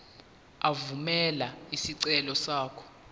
evumela isicelo sakho